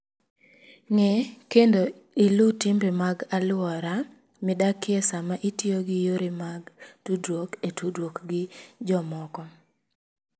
Ng'e kendo iluw timbe mag alwora midakie sama itiyo gi yore mag tudruok e tudruok gi jomoko.